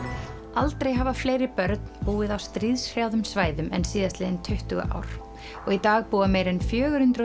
aldrei hafa fleiri börn búið á stríðshrjáðum svæðum en síðastliðin tuttugu ár og í dag búa meira en fjögur hundruð